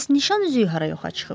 Bəs nişan üzüyü hara yoxa çıxıb?